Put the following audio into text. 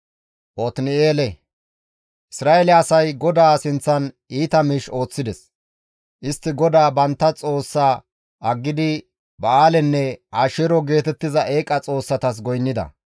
Isra7eele asay GODAA sinththan iita miish ooththides; istti GODAA bantta Xoossa aggidi Ba7aalenne Asheero geetettiza eeqa xoossatas goynnida.